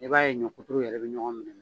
I b'a ye ɲɔ kuturu yɛrɛ bɛ ɲɔgɔn minɛ.